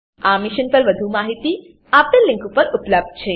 આ મિશન પર વધુ માહિતી નીચે દર્શાવેલ લીંક પર ઉપલબ્ધ છે